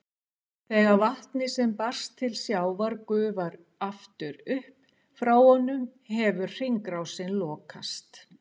Þegar vatnið sem barst til sjávar gufar aftur upp frá honum hefur hringrásin lokast.